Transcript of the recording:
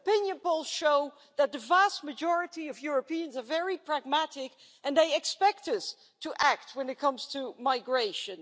Opinion polls show that the vast majority of Europeans are very pragmatic and they expect us to act when it comes to migration.